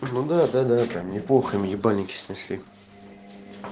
ну да да да да прям неплохо им ебальники снесли